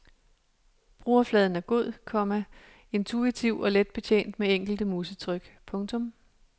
Brugerfladen er god, komma intuitiv og let betjent med enkelte musetryk. punktum